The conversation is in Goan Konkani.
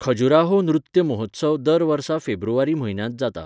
खजुराहो नृत्य महोत्सव दर वर्सा फेब्रुवारी म्हयन्यांत जाता.